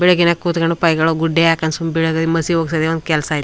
ಬೆಳಿಗ್ಗೆನೇ ಕೂತುಕೊಂಡು ಫೈಲ್ ಗಳ ಗುಡ್ಡೆ ಹಾಕ್ಕೊಂಡು ಸುಮ್ನೆ ಬೀಳ್ಕೊಂಡು ಮಸಿ ಹೋಗ್ಕೊಂಡು ಒಂದು ಕೆಲಸ ಇಲ್ಲ.